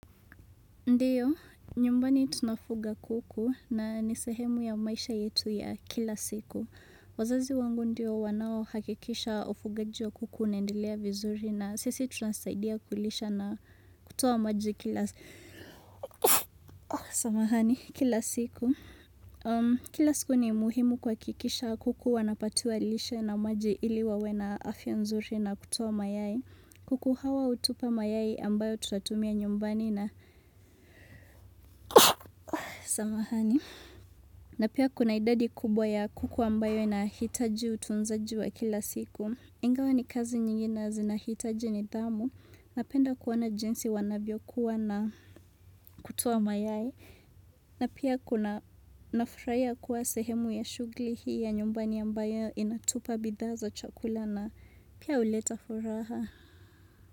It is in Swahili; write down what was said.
Ndiyo, nyumbani tunafuga kuku na nisehemu ya maisha yetu ya kila siku. Wazazi wangu ndiyo wanao hakikisha ufugaji wa kuku unaendelea vizuri na sisi tunasaidia kulisha na kutoa maji kila siku. Kila siku ni muhimu kwa kikisha kuku wanapatiwa lishe na maji ili wawena afya nzuri na kutoa mayai. Kuku hawa utupa mayai ambayo tunatumia nyumbani na samahani. Na pia kuna idadi kubwa ya kuku ambayo inahitaji utunzaji wa kila siku. Ingawa ni kazi nyingi na zinahitaji niidhamu. Napenda kuona jinsi wana vyokuwa na kutoa mayai. Na pia kuna nafurahiya kuwa sehemu ya shughli hii ya nyumbani ambayo inatupa bidhaa za chakula na pia uleta furaha.